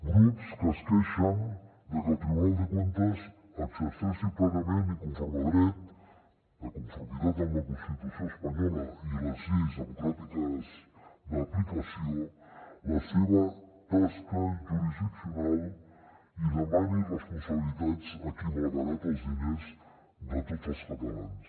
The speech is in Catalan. grups que es queixen de que el tribunal de cuentas exerceixi plenament i conforme a dret de conformitat amb la constitució espanyola i les lleis democràtiques d’aplicació la seva tasca jurisdiccional i demani responsabilitats a qui malbarata els diners de tots els catalans